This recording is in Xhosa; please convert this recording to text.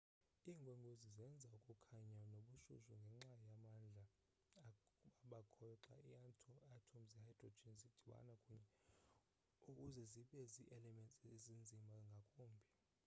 iinkwenkwezi zenza ukukhanya nobushushu ngenxa yamandla abakhoyo xa iiathom ze-hydrogen zidibana kunye ukuze zibe zi-elements ezinzima ngakumbi